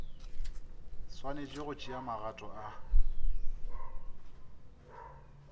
swanetše go tšea magato a